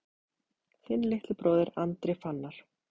Þinn litli bróðir, Andri Fannar.